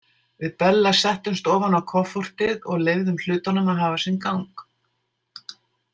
Við Bella settumst ofan á koffortið og leyfðum hlutunum að hafa sinn gang.